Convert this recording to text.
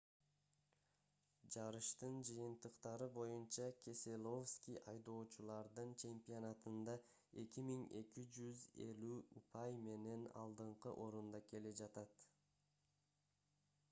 жарыштын жыйынтыктары боюнча кеселовски айдоочулардын чемпионатында 2250 упай менен алдыңкы орунда келе жатат